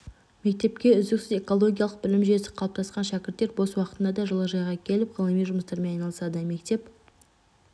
мектепте үздіксіз экологиялық білім жүйесі қалыптасқан шәкірттер бос уақытында да жылыжайға келіп ғылыми жұмыстармен айналысады мектеп